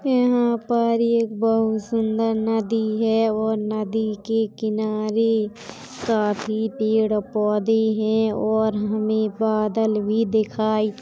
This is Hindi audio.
यहाँ पर ये बहोत सुंदर नदी है और नदी के किनारे काफी पेड़ पौधे हैं और हमें बादल भी दिखाई --